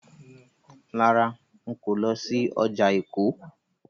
Rárá, n kò lọ sí ọjà Èkó.